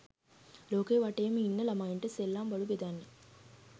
ලෝකෙ වටේම ඉන්න ලමයින්ට සෙල්ලම්බඩු බෙදන්නේ?